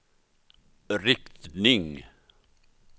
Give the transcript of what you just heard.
riktning